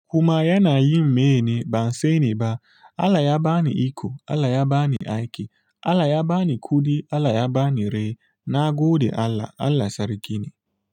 Kuma yana yin meye ne ban sani ba. Allah ya bani iko, Allah ya bani aiki, Allah ya bani kuɗi, Allah ya bani rai. Na gode Allah, Allah Sarki ne.